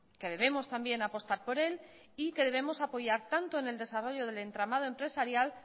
que debemos también apostar por él y que debemos apoyar tanto en el desarrollo del entramado empresarial